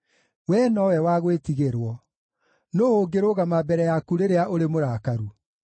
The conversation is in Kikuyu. Wee nowe wa gwĩtigĩrwo. Nũũ ũngĩrũgama mbere yaku rĩrĩa ũrĩ mũrakaru?